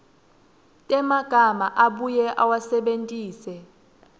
temagama abuye awasebentise